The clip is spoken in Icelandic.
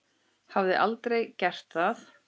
Hafði aldrei gert það.